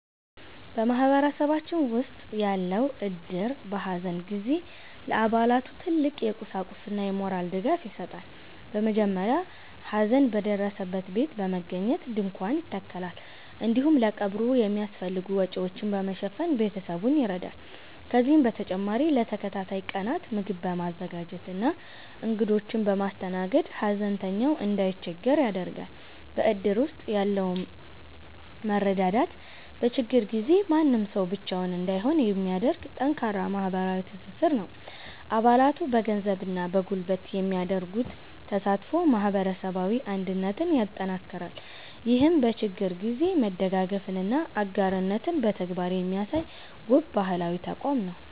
በማህበረሰባችን ውስጥ ያለው እድር፣ በሐዘን ጊዜ ለአባላቱ ትልቅ የቁሳቁስና የሞራል ድጋፍ ይሰጣል። በመጀመሪያ ሐዘን በደረሰበት ቤት በመገኘት ድንኳን ይተከላል፤ እንዲሁም ለቀብሩ የሚያስፈልጉ ወጪዎችን በመሸፈን ቤተሰቡን ይረዳል። ከዚህም በተጨማሪ ለተከታታይ ቀናት ምግብ በማዘጋጀትና እንግዶችን በማስተናገድ፣ ሐዘንተኛው እንዳይቸገር ያደርጋል። በእድር ውስጥ ያለው መረዳዳት፣ በችግር ጊዜ ማንም ሰው ብቻውን እንዳይሆን የሚያደርግ ጠንካራ ማህበራዊ ትስስር ነው። አባላቱ በገንዘብና በጉልበት የሚያደርጉት ተሳትፎ ማህበረሰባዊ አንድነትን ያጠናክራል። ይህም በችግር ጊዜ መደጋገፍንና አጋርነትን በተግባር የሚያሳይ፣ ውብ ባህላዊ ተቋም ነው።